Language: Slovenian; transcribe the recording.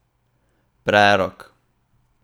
Prerok.